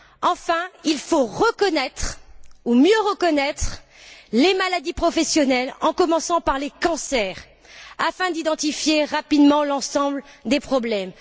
Enfin, il faut reconnaître, ou mieux reconnaître les maladies professionnelles, à commencer par les cancers, afin d'identifier rapidement l'ensemble des problèmes.